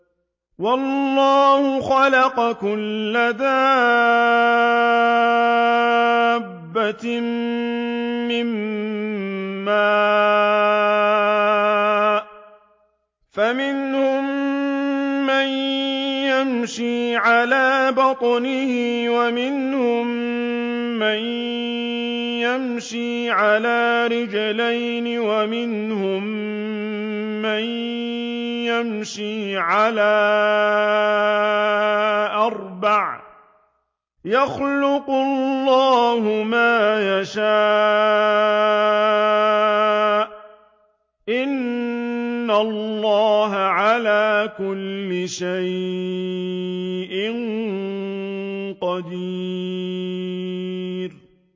وَاللَّهُ خَلَقَ كُلَّ دَابَّةٍ مِّن مَّاءٍ ۖ فَمِنْهُم مَّن يَمْشِي عَلَىٰ بَطْنِهِ وَمِنْهُم مَّن يَمْشِي عَلَىٰ رِجْلَيْنِ وَمِنْهُم مَّن يَمْشِي عَلَىٰ أَرْبَعٍ ۚ يَخْلُقُ اللَّهُ مَا يَشَاءُ ۚ إِنَّ اللَّهَ عَلَىٰ كُلِّ شَيْءٍ قَدِيرٌ